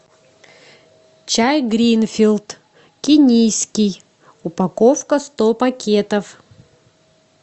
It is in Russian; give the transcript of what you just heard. чай гринфилд кенийский упаковка сто пакетов